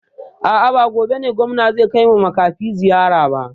A'a ba gobe bane gwamna zai kaiwa makafi ziyara ba